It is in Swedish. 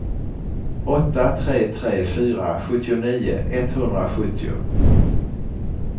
åtta tre tre fyra sjuttionio etthundrasjuttio